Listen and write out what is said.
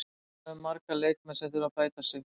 Við höfum marga leikmenn sem þurfa að bæta sig.